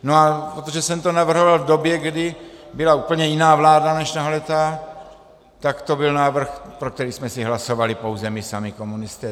No a protože jsem to navrhoval v době, kdy byla úplně jiná vláda než tahleta, tak to byl návrh, pro který jsme si hlasovali pouze my sami komunisté.